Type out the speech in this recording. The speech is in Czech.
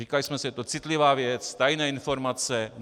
Říkali jsme si - je to citlivá věc, tajné informace.